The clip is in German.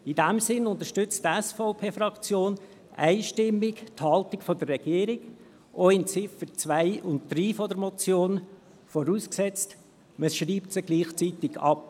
In diesem Sinne unterstützt die SVP-Fraktion einstimmig die Haltung der Regierung, auch bei Ziffer 2 und 3 der Motion, vorausgesetzt, man schreibt sie gleichzeitig ab.